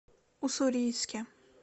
уссурийске